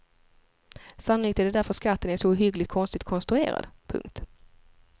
Sannolikt är det därför skatten är så ohyggligt konstigt konstruerad. punkt